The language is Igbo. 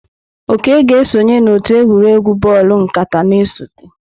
Oke ga-esonye n'otu egwuregwu bọọlụ nkata na-esote.